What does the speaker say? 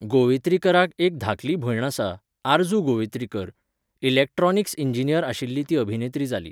गोवित्रीकराक एक धाकली भयण आसा, आरजू गोवित्रीकर, इलॅक्ट्रॉनिक्स इंजिनियर आशिल्ली ती अभिनेत्री जाली.